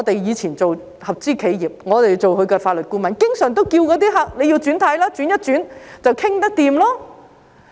以前我們擔任合資企業的法律顧問，經常勸諭客人要"轉軚"，轉變一下便能有共識。